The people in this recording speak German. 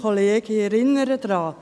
Ich erinnere daran: